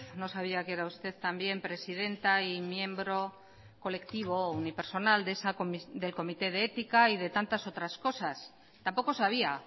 no sabía que era usted también presidenta y miembro colectivo o unipersonal del comité de ética y de tantas otras cosas tampoco sabía